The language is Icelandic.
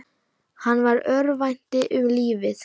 Hann örvænti um lífið.